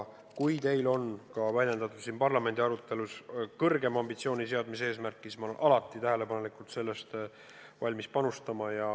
Ka siin parlamendi arutelus on märgitud vajadust seada kõrgemad ambitsioonid ja ma olen alati tähelepanelikult kuulanud ja valmis panustama.